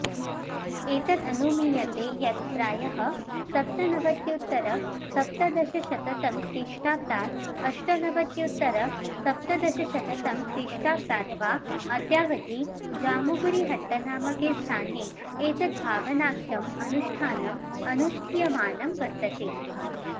एतदनुमीयते यत् प्रायः सप्तनवत्युत्तरसप्तदशशततमख्रीष्टाब्दात् अष्टनवत्युत्तरसप्तदशशततमख्रीष्टाब्दात् वा अद्यावधि जामुगुरिहट्टनामके स्थाने एतद्भावनाख्यम् अनुष्ठानम् अनुष्ठीयमानं वर्तते